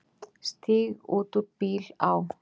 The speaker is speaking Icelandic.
Stíg út úr bíl, á.